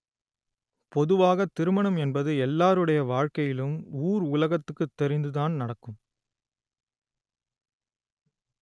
பொதுவாக திருமணம் என்பது எல்லோருடைய வாழ்க்கையிலும் ஊர் உலகத்துக்கு தெரிந்துதான் நடக்கும்